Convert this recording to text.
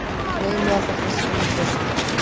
Gleymið allri þessari vitleysu